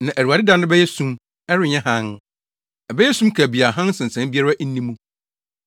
Na Awurade da no bɛyɛ sum; ɛrenyɛ hann, ɛbɛyɛ sum kabii a hann nsinsan biara nni mu.